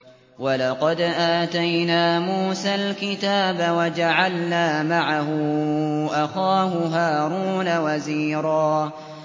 وَلَقَدْ آتَيْنَا مُوسَى الْكِتَابَ وَجَعَلْنَا مَعَهُ أَخَاهُ هَارُونَ وَزِيرًا